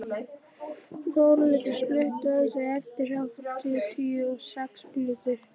Þórlindur, slökktu á þessu eftir áttatíu og sex mínútur.